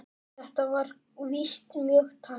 Þetta var víst mjög tæpt.